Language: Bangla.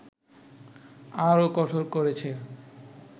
আরও কঠোর করেছে